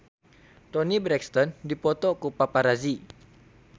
Toni Brexton dipoto ku paparazi